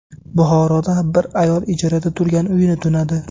Buxoroda bir ayol ijarada turgan uyini tunadi.